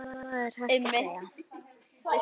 Hvað annað er hægt að segja?